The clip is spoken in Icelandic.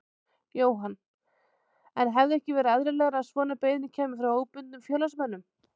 Jóhann: En hefði ekki verið eðlilegra að svona beiðni kæmi frá óbundnum félagsmönnum?